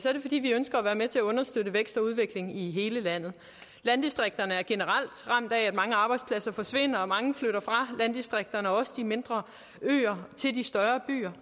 er det fordi vi ønsker at være med til at understøtte vækst og udvikling i hele landet landdistrikterne er generelt ramt af at mange arbejdspladser forsvinder og mange flytter fra landdistrikterne og også fra de mindre øer til de større byer